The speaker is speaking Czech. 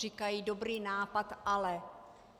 Říkají dobrý nápad, ale.